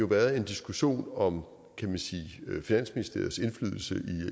været en diskussion om finansministeriets indflydelse